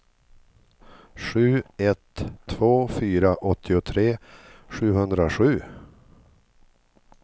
sju ett två fyra åttiotre sjuhundrasju